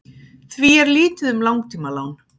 því er lítið um langtímalán